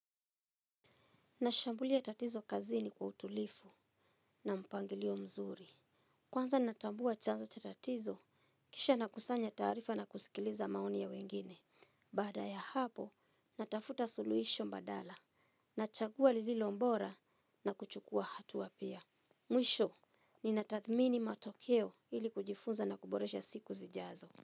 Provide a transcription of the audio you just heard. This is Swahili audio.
Nashambulia tatizo kazini kwa utulivu na mpangilio mzuri. Kwanza natambua chanzo cha tatizo, kisha na kusanya taarifa na kusikiliza maoni ya wengine. Baada ya hapo, natafuta suluhisho mbadala. Nachagua lililo bora na kuchukua hatua pia. Mwisho, ninatathmini matokeo ili kujifunza na kuboresha siku zijazo.